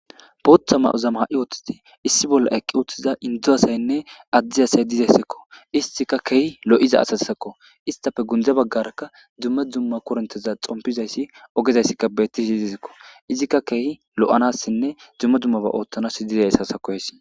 Bootha ma7ozama ha7i ooththiti issi bolla eqqi uuthtiza indzu asaynne addi asay dizayssikko istika kehi lo7iza asasisakko istafe gundze baggarakka dzumma dzumma korenteza xompizayssi ogezayssikka beettisi dizisekko izikka keehi lo7anassinne dzumma dzummaba oothtanas dizay sasa koysi.